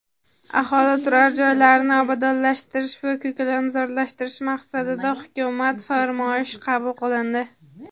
aholi turar joylarini obodonlashtirish va ko‘kalamzorlashtirish maqsadida Hukumat farmoyishi qabul qilindi.